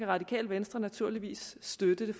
radikale venstre naturligvis støtte